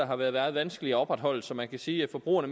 har været meget vanskeligt at opretholde så man kan sige at forbrugerne